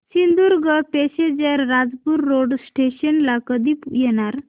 Sindhudurg passenger Rajapur road station ला कधी येणार